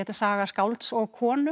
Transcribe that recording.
saga skálds og konu